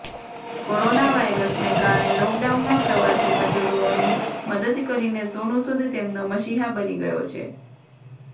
corona વાયરસને કારણે લોકડાઉનમાં પ્રવાસી મજૂરોની મદદ કરીને સોનુ સૂદ તેમનો મસીહા બની ગયો છે